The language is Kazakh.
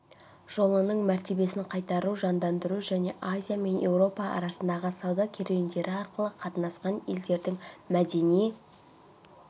жолының мәртебесін қайтару жандандыру және азия мен еуропа арасындағы сауда керуендері арқылы қатынасқан елдердің мәдени